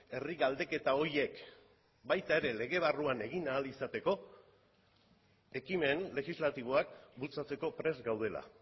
herri galdeketa horiek baita ere lege barruan egin ahal izateko ekimen legislatiboak bultzatzeko prest gaudela